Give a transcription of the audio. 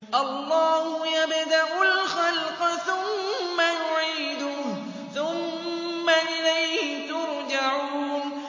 اللَّهُ يَبْدَأُ الْخَلْقَ ثُمَّ يُعِيدُهُ ثُمَّ إِلَيْهِ تُرْجَعُونَ